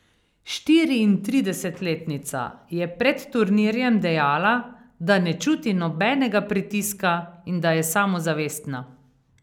Štiriintridesetletnica je pred turnirjem dejala, da ne čuti nobenega pritiska in da je samozavestna.